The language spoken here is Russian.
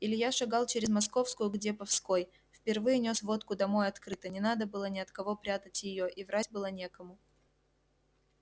илья шагал через московскую к деповской впервые нёс водку домой открыто не надо было ни от кого прятать её и врать было некому